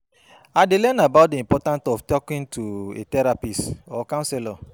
I dey learn about dey importance of talking to a therapist or counselor.